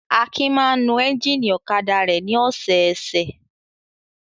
Akin máa ń nu ẹ́ńjínì ọ̀kadà rẹ̀ ní ọ̀sẹ̀ẹ̀sẹ̀.